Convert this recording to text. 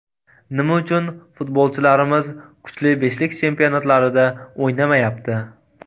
Nima uchun futbolchilarimiz kuchli beshlik chempionatlarida o‘ynamayapti?